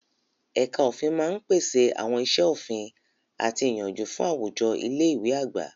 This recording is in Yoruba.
Ẹ̀ka òfin máa ń pèsè àwọn iṣẹ́ òfin àti ìyànjú fún àwùjọ ilé ìwé àgbà.